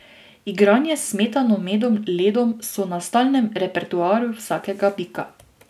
Igranje s smetano, medom, ledom so na stalnem repertoarju vsakega bika.